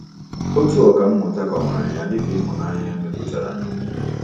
Otu ọkà mmụta kọwara ya dị ka “ ịhụnanya e mepụtara n'omume. ”